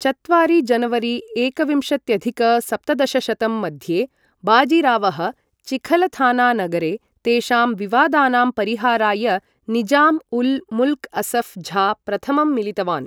चत्वारि जनवरी एकविंशत्यधिक सप्तदशशतं मध्ये, बाजीरावः चिखलथाना नगरे, तेषां विवादानां परिहाराय निज़ाम् उल् मुल्क् असफ् झा प्रथमं मिलितवान्।